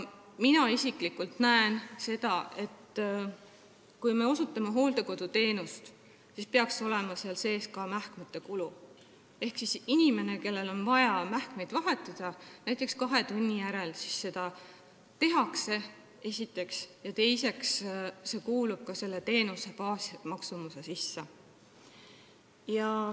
Mina isiklikult arvan, et kui me osutame hooldekoduteenust, siis peaksid olema sinna sisse arvestatud ka mähkmed, et inimesel, kellel on vaja mähkmeid vahetada, seda näiteks kahe tunni järel tehtaks, ja see kuuluks teenuse baasmaksumuse sisse.